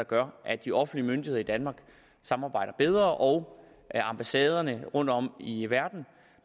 gør at de offentlige myndigheder i danmark samarbejder bedre og at ambassaderne rundtom i verden